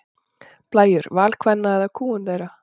Blæjur: Val kvenna eða kúgun þeirra?